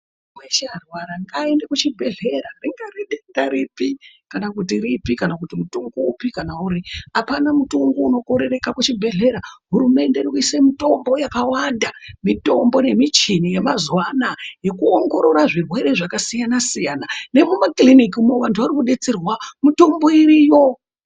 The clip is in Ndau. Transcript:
Muntu weshe arwara ngaende kuzvibhedhlera ringava denda ripi kana kuti ripi kana kuti mutombo upi kana kuti upi apana mutombo unokorereka muchibhohlera hurumende iri kuisa mitombo yakawanda mitombo nemichini yemazuva ano yekuongorora zvirwere zvakasiyana siyana nemumakirinika vantu vari kudetserwa mitombo iriyo.